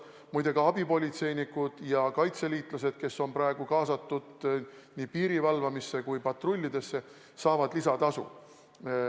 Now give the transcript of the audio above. Muide, ka abipolitseinikud ja kaitseliitlased, kes on praegu kaasatud nii piiri valvamisse kui patrullidesse, saavad lisatasu.